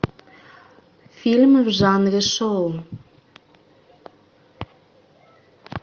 фильмы в жанре шоу